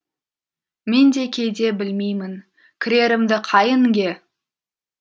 мен де кейде білмеймін кірерімді қай інге